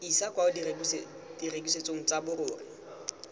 isa kwa borekisetsong jwa dirori